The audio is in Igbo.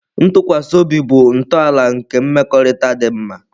Ntụkwasị obi bụ ntọala nke mmekọrịta dị mma.